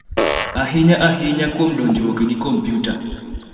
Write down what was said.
ahinya ahinya kuom donjruok gi kompiuta.